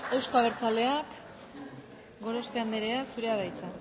euzko abertzaleak gorospe andrea zurea da hitza